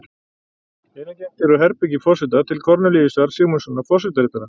Innangengt er úr herbergi forseta til Kornelíusar Sigmundssonar forsetaritara.